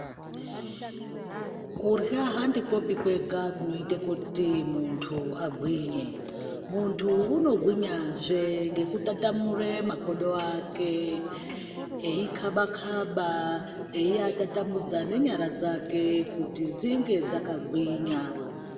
Kudyra handikwopi kwega kunoita kuti muntu agwinye. Muntu unogwinyazvee ngekutatamura makodo ake. Eikhaba khaba, einyatatamudza nenyara dzake kuti dzinge dzakagwinya.